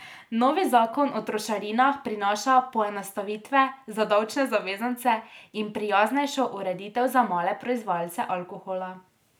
Novi zakon o trošarinah prinaša poenostavitve za davčne zavezance in prijaznejšo ureditev za male proizvajalce alkohola.